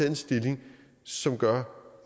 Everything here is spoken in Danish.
en stilling som gør